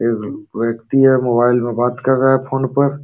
वेक्ति है। मोबाइल में बात कर रहा है फ़ोन पर।